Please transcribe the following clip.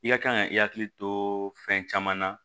I ka kan ka i hakili to fɛn caman na